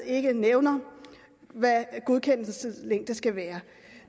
ikke nævner hvad godkendelseslængden skal være